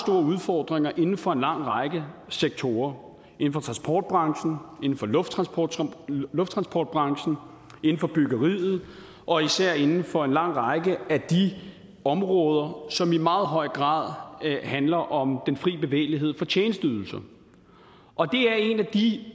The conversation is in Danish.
udfordringer inden for en lang række sektorer inden for transportbranchen inden for lufttransportbranchen lufttransportbranchen inden for byggeriet og især inden for en lang række af de områder som i meget høj grad handler om den fri bevægelighed for tjenesteydelser og en af de